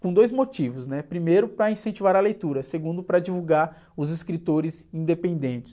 Com dois motivos, né? Primeiro para incentivar a leitura, segundo para divulgar os escritores independentes.